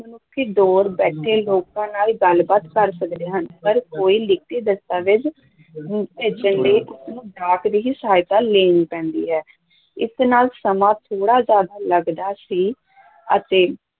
ਦੂਰ ਬੈਠੇ ਲੋਕਾਂ ਨਾਲ ਗੱਲਬਾਤ ਕਰ ਸਕਦੇ ਹਨ, ਪਰ ਕੋਈ ਲਿਖਤੀ ਦਸਤਾਵੇਜ ਭੇਜਣ ਲਈ ਉਹਨੂੰ ਡਾਕ ਦੀ ਹੀ ਸਹਾਇਤਾ ਲੈਣੀ ਪੈਂਦੀ ਹੈ, ਇਸ ਨਾਲ ਸਮਾਂ ਥੋੜ੍ਹਾ ਜ਼ਿਆਦਾ ਲੱਗਦਾ ਸੀ ਅਤੇ